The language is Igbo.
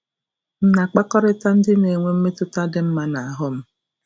M̀ na-akpakọrịta ndị na-enwe mmetụta dị mma n'ahụ́ m?